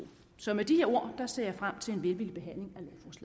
så med de her ord ser jeg frem til en velvillig behandling